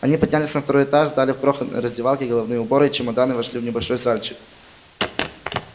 они поднялись на второй этаж сдали в крохотной раздевалке головные уборы и чемодан и вошли в небольшой зальчик